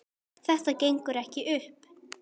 Þetta gengur ekki upp.